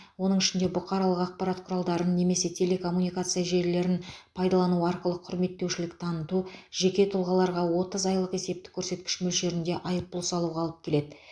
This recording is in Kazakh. оның ішінде бұқаралық ақпарат құралдарын немесе телекоммуникация желілерін пайдалану арқылы құрметтемеушілік таныту жеке тұлғаларға отыз айлық есептік көрсеткіш мөлшерінде айыппұл салуға алып келеді